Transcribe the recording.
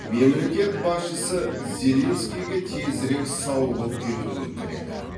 мемлекет басшысы зеленскийге тезірек сауығып кетуін тіледі